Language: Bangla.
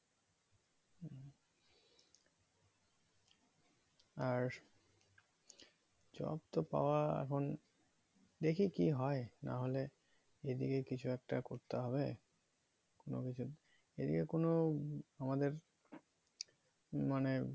আর job তো পাওয়া এখন দেখি কি হয়ে না হলে এদিকে কিছু একটা করতে হবে কোনো কিছু এদিকে কোনো আমাদের মানে কি বলবো